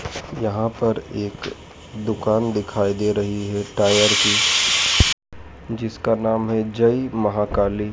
यहां पर एक दुकान दिखाई दे रही है टायर की जिसका नाम है जय महाकाली।